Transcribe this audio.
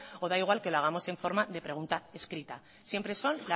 o da igual que lo hagamos en forma de pregunta escrita siempre son